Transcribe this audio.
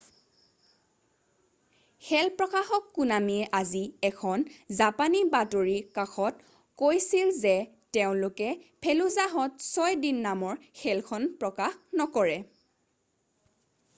খেল প্ৰকাশক কোনামিয়ে আজি এখন জাপানী বাতৰি কাকতত কৈছিল যে তেওঁলোকে ফেলুজাহত ছয় দিন নামৰ খেলখন প্ৰকাশ নকৰে